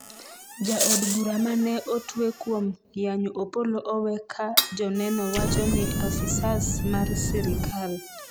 Jaod bura mane otwe kuom yanyo Opollo owe ka joneno wachoni afisas mar sirikal ,